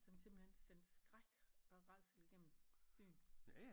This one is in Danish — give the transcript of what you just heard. Som simpelthen sendte skræk og rædsel igennem byen